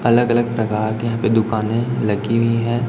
अलग अलग प्रकार के यहां पे दुकानें लगी हुई हैं।